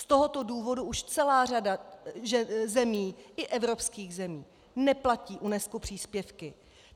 Z tohoto důvodu už celá řada zemí, i evropských zemí, neplatí UNESCO příspěvky.